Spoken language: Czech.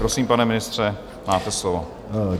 Prosím, pane ministře, máte slovo.